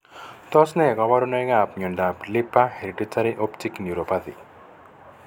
Tos ne kaborunoikap miondop Leber hereditary optic neuropathy?